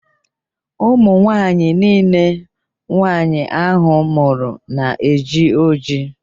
Ụmụnwaanyị nille nwaanyị ahụ mụrụ na-eji ojii